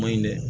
Maɲi dɛ